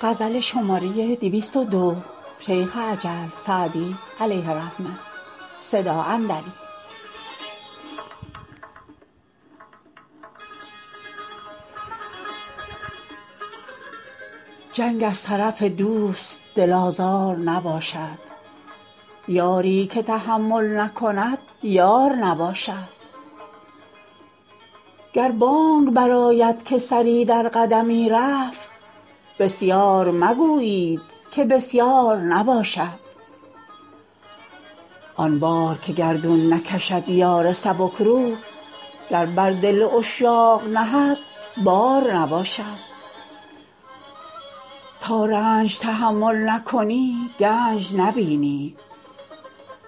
جنگ از طرف دوست دل آزار نباشد یاری که تحمل نکند یار نباشد گر بانگ برآید که سری در قدمی رفت بسیار مگویید که بسیار نباشد آن بار که گردون نکشد یار سبک روح گر بر دل عشاق نهد بار نباشد تا رنج تحمل نکنی گنج نبینی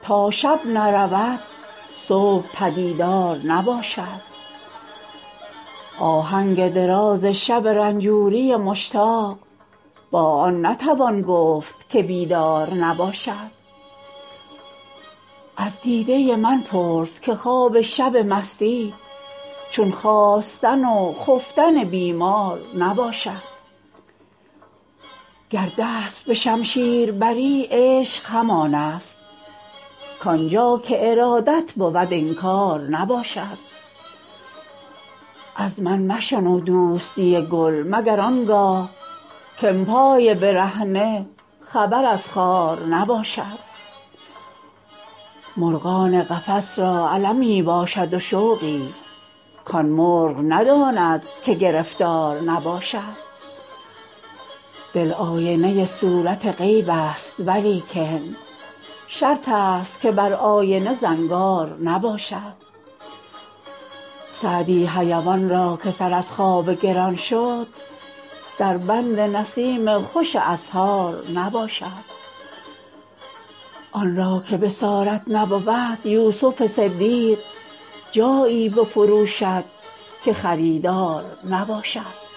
تا شب نرود صبح پدیدار نباشد آهنگ دراز شب رنجوری مشتاق با آن نتوان گفت که بیدار نباشد از دیده من پرس که خواب شب مستی چون خاستن و خفتن بیمار نباشد گر دست به شمشیر بری عشق همان است کآن جا که ارادت بود انکار نباشد از من مشنو دوستی گل مگر آن گاه که ام پای برهنه خبر از خار نباشد مرغان قفس را المی باشد و شوقی کآن مرغ نداند که گرفتار نباشد دل آینه صورت غیب است ولیکن شرط است که بر آینه زنگار نباشد سعدی حیوان را که سر از خواب گران شد در بند نسیم خوش اسحار نباشد آن را که بصارت نبود یوسف صدیق جایی بفروشد که خریدار نباشد